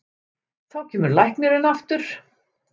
Þá kemur læknirinn aftur.